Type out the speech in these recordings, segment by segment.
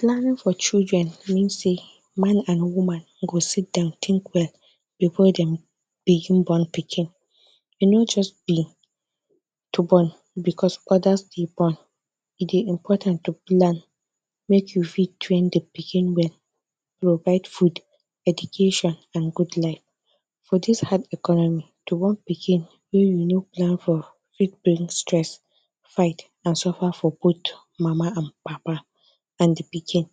Planning for children mean sey, man and woman go sit down think well before them begin born pikin, e no just be to born because others dey born, e dey important to plan make you fit train the pikin well provide food, education and good life. For this hard economy, to born pikin wey you no plan for fit bring stress, fight and suffer for both mama and papa and di pikin,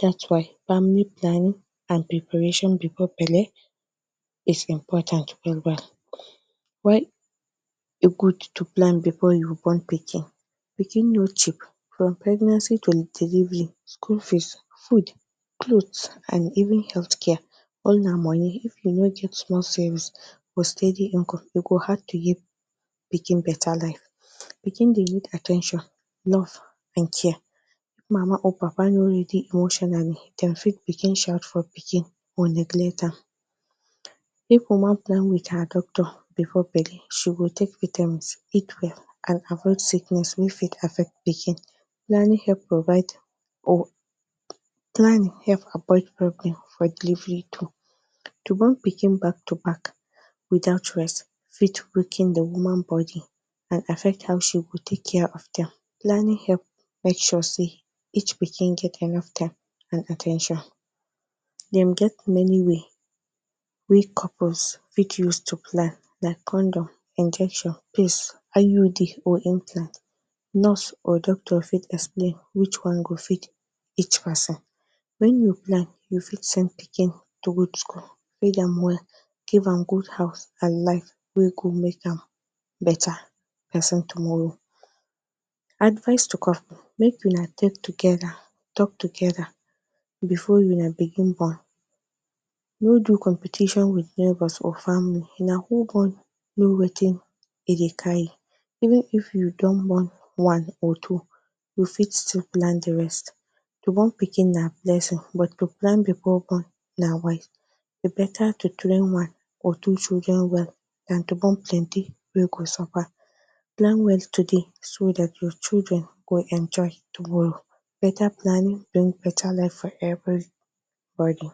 that’s why family planning and preparation before belle is important well well. Why e good to plan before you born pikin? Pikin no cheap, from pregnancy to delivery, school fees, food, clothe and even health care all na money. If you no get small savings or steady income you go hard to give pikin better life, pikin dey need at ten tion, love and care, mama or papa no ready emotionally, dem fit begin shout for pikin or neglect am, if woman plan with her doctor before belle she go take vitamins eat well and avoid sickness wey fit affect the pikin, planning help provide or planning help avoid problem for delivery too. To born pikin back to back without rest fit weaken the woman body and affect how she go take care of dem, planning help make sure sey each pikin get enough time and at ten tion, dem get many way couples fit use to plan, like condom, injection pills, iud or or implant. Nurse or doctor fit explain which one go fit each person, when you plan you fit send pikin to good school, feed am well give am good house and life wey go make am better person tomorrow. Advice to couples, make una they together talk together before una begin born no do competition with neighbours or family na who born know wetin e dey carry even if you don born one or two you fit still plan the rest, to born pikin na blessing but to plan before born na wise, e better to train one or two children well than to born plenty wey go suffer. Plan well today so that your children go enjoy tomorrow. Better planning bring better life for everybody.